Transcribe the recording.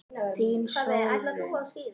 Þín Sólrún.